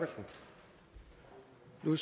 med